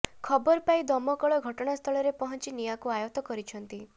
ଖବର ପାଇ ଦମକଳ ଘଟଣାସ୍ଥଳରେ ପହଞ୍ଚି ନିଆଁକୁ ଆୟତ କରିଛନ୍ତି